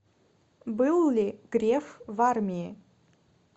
был ли греф в армии